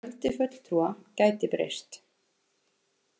Fjöldi fulltrúa gæti breyst